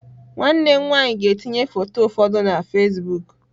Nwanne m nwanyị ga-etinye foto ụfọdụ na Fasịbụk